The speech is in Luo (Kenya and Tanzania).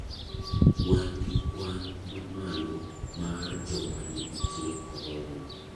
Wan gi kwan mamalo mar joma ni gi tuo korona.